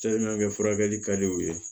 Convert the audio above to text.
kɛ furakɛli ka di u ye